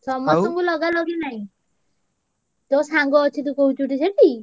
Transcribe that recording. ସମସ୍ତଙ୍କୁ ଲଗାଲଗି ନାଇଁ। ତୋ ସାଙ୍ଗ ଅଛି ତୁ କହୁଛୁ ଟି ସେଠି।